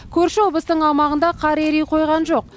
көрші облыстың аумағында қар ери қойған жоқ